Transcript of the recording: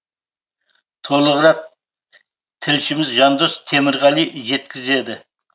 толығырақ тілшіміз жандос темірғали жеткізеді